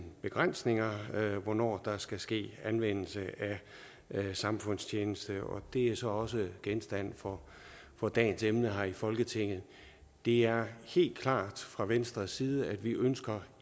begrænsninger hvornår der skal ske anvendelse af samfundstjeneste og det er så også genstand for for dagens emne her i folketinget det er helt klart at fra venstres side ønsker